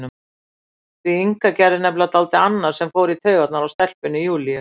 Því Inga gerði nefnilega dálítið annað sem fór í taugarnar á stelpunni Júlíu.